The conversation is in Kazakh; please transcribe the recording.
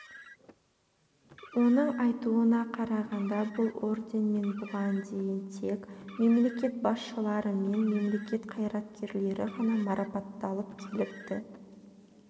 оның айтуына қарағанда бұл орденмен бұған дейін тек мемлекет басшылары мен мемлекет қайраткерлері ғана марапатталып келіпті